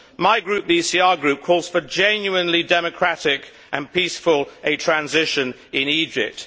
My group, the ECR Group, calls for a genuinely democratic and peaceful transition in Egypt.